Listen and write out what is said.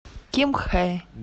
кимхэ